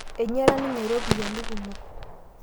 einyiala ninye iropiyiani kumok